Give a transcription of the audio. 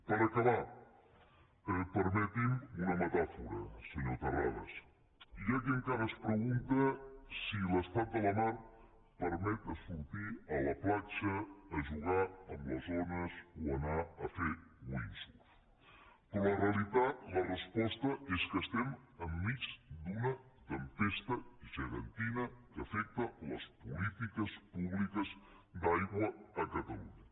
per acabar permeti’m una metàfora senyor terrades hi ha qui encara es pregunta si l’estat de la mar permet sortir a la platja a jugar amb les ones o anar a fer wind surf però la realitat la resposta és que som enmig d’una tempesta gegantina que afecta les polítiques públiques d’aigua a catalunya